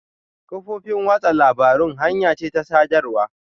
Kafofin watsa labarun hanya ce ta sadarwa.